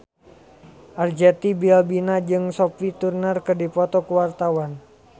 Arzetti Bilbina jeung Sophie Turner keur dipoto ku wartawan